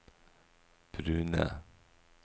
brune